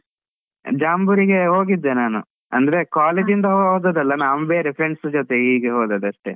ಜಾಂಬೂರಿಗೆ ಹೋಗಿದ್ದೆ ನಾನು, ಅಂದ್ರೆ college ಇಂದ ಹೋದದ್ ಅಲ್ಲ, ನಾವ್ ಬೇರೆ friends ಜೊತೆ ಹೀಗೆ ಹೋದದಷ್ಟೇ.